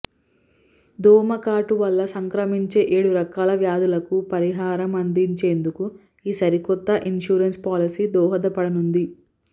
దోమకాటు వల్ల సంక్రమించే ఏడు రకాల వ్యాధులకు పరిహారం అందించేందుకు ఈ సరికొత్త ఇన్సూరెన్స్ పాలసీ దోహదపడనుంది